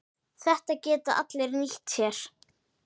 Þetta geta allir nýtt sér.